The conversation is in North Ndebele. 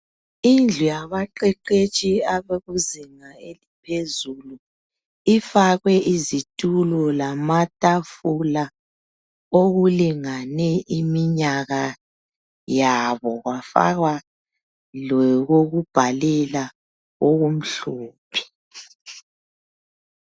Indlu yabaqeqetshi abakuzinga eliphezulu ifakwe izitulo lamatafula okulingane iminyaka yabo kwafakwa lokokubhalela okumhlophe.